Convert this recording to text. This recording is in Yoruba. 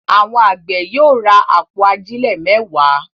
Àwọn àgbẹ̀ yóò ra àpò ajílẹ̀ mẹ́wàá.